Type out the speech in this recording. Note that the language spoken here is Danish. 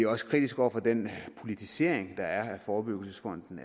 også kritiske over for den politisering der er af forebyggelsesfonden